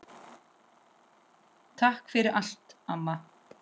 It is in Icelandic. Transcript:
Takk fyrir allt, amma.